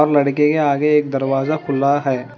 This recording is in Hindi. लड़के के आगे एक दरवाजा खुला है।